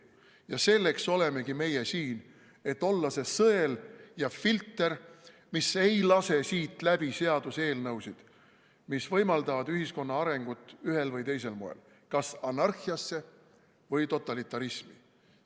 Ja selleks olemegi meie siin, et olla see sõel ja filter, mis ei lase siit läbi seaduseelnõusid, mis võimaldavad ühiskonna arengut ühel või teisel moel, kas anarhiasse või totalitarismi.